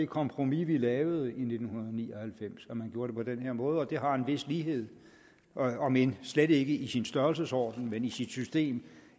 kompromis vi lavede i nitten ni og halvfems var at man gjorde det på den her måde og det har en vis lighed om end slet ikke i sin størrelsesorden men i sit system